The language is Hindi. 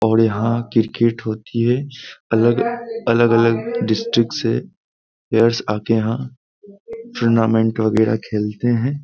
और यहाँ क्रिकेट होती है अलग-अलग डिस्ट्रिक्ट से प्लेयर्स आकर यहाँ टूर्नामेंट वगैरा खेलते हैं।